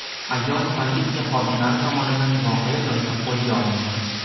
Ayol politsiya xodimlari tomonidan voqea joyida qo‘lga olindi.